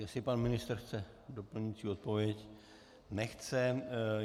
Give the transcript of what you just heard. Jestli pan ministr chce doplňující odpověď - nechce.